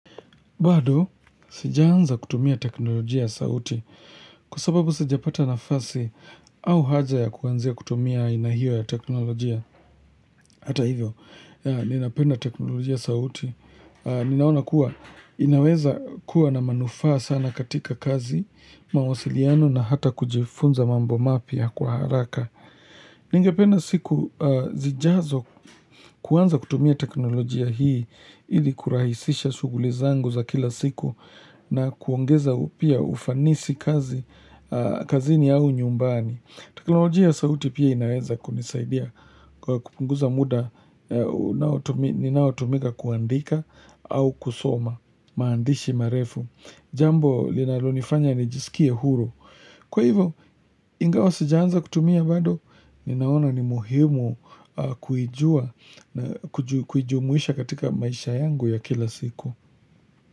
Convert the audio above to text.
Bado, sijaanza kutumia teknolojia ya sauti kwa sababu sijapata nafasi au haja ya kuanzia kutumia aina hiyo ya teknolojia. Hata hivyo, ninapenda teknolojia ya sauti. Ninaona kuwa, inaweza kuwa na manufaa sana katika kazi, mawasiliano na hata kujifunza mambo mapya kwa haraka. Ningependa siku zijazo kuanza kutumia teknolojia hii ili kurahisisha shughuli zangu za kila siku na kuongeza upya ufanisi kazi, kazini au nyumbani. Teknolojia ya sauti pia inaeza kunisaidia kwa kupunguza muda unaotu ninaotumika kuandika au kusoma maandishi marefu. Jambo linalonifanya nijisikie huru. Kwa hivo, ingawa sijaanza kutumia bado, ninaona ni muhimu kuijua na kuju kuijumuisha katika maisha yangu ya kila siku.